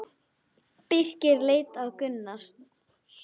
Birkir leit á Gunnar.